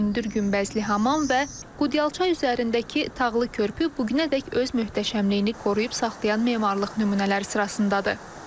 Hündür günbəzli hamam və Qudyalçay üzərindəki tağlı körpü bu günədək öz möhtəşəmliyini qoruyub saxlayan memarlıq nümunələri sırasındadır.